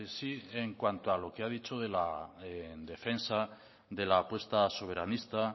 sí en cuanto a lo que ha dicho en defensa de la apuesta soberanista